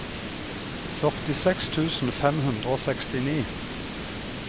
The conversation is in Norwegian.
førtiseks tusen fem hundre og sekstini